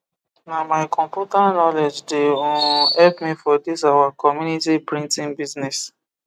na my computer knowledge de um help me for this our community printing business